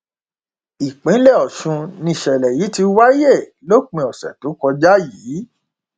ìpínlẹ ọsùn nìṣẹlẹ yìí ti wáyé lópin ọsẹ tó kọjá yìí